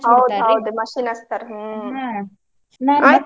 machine ಹಚ್ಚ್ತಾರ .